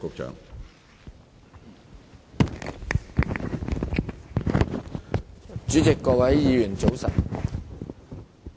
主席，各位議員，早晨。